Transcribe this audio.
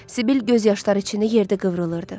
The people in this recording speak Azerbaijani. Sibil göz yaşları içində yerdə qıvrılırdı.